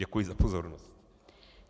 Děkuji za pozornost.